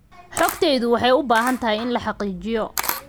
Xogtayadu waxay u baahan tahay in la xaqiijiyo.